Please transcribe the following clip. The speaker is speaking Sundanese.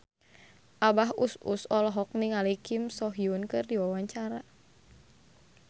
Abah Us Us olohok ningali Kim So Hyun keur diwawancara